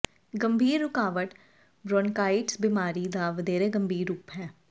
ਗੰਭੀਰ ਰੁਕਾਵਟ ਬ੍ਰੌਨਕਾਈਟਸ ਬਿਮਾਰੀ ਦਾ ਵਧੇਰੇ ਗੰਭੀਰ ਰੂਪ ਹੈ